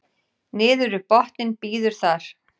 niður við botninn bíður þar